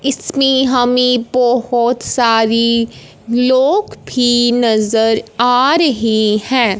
इसमें हमें बहोत सारी लोग भी नजर आ रहे हैं।